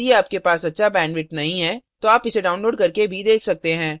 यदि आपके पास अच्छा bandwidth नहीं है तो आप इसे download करके देख सकते हैं